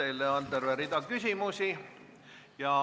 Teile on terve rida küsimusi.